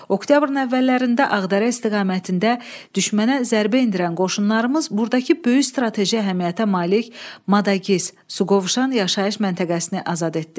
Oktyabrın əvvəllərində Ağdərə istiqamətində düşmənə zərbə endirən qoşunlarımız burdakı böyük strateji əhəmiyyətə malik Madagiz, Suqovuşan yaşayış məntəqəsini azad etdi.